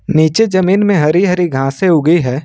नीचे जमीन में हरि हरि घासे उगी है।